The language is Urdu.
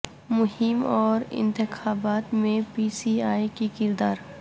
مہم اور انتخابات میں پی سی اے کی کردار